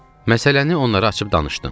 Məsələni onlara açıb danışdım.